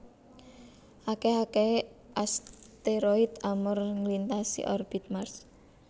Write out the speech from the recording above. Akeh ekehe asteroid Amor nglintasi orbit Mars